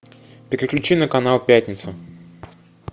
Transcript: переключи на канал пятница